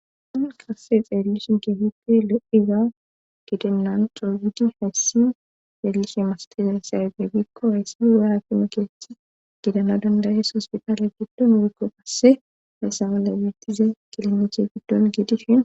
Hayssan qasse xeellishin keefiti le7iza gidenlan droogidi heessi xeellishe mastize serbibikko hessimige haakimikeethi gidana dandayees hospitaale giddon irikko qasse hessawale wiittize kilimiche giddon giidishi.